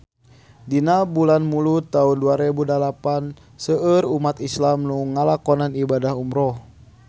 Dina bulan Mulud taun dua rebu dalapan seueur umat islam nu ngalakonan ibadah umrah